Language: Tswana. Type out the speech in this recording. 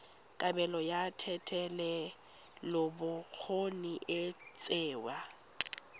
kabelo ya thetelelobokgoni e tsewa